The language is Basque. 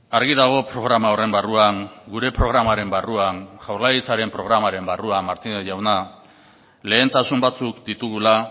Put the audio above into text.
argi dago programa horren barruan gure programaren barruan jaurlaritzaren programaren barruan martínez jauna lehentasun batzuk ditugula